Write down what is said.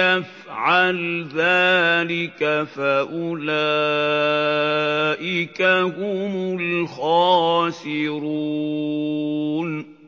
يَفْعَلْ ذَٰلِكَ فَأُولَٰئِكَ هُمُ الْخَاسِرُونَ